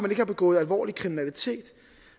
ikke har begået alvorlig kriminalitet